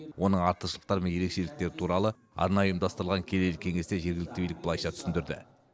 оның артықшылықтары мен ерекшеліктері туралы арнайы ұйымдастырылған келелі кеңесте жергілікті билік былайша түсіндірді